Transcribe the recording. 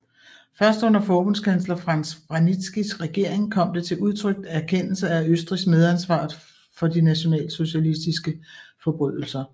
Først under forbundskansler Franz Vranitzkys regering kom det til en udtrykt erkendelse af Østrigs medansvar for de nationalsocialistiske forbrydelser